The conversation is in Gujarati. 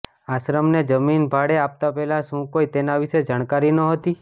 આશ્રમને જમીન ભાડે આપતા પહેલા શું કોઈ તેના વિશે જાણકારી નહોતી